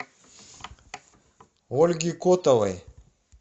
ольге котовой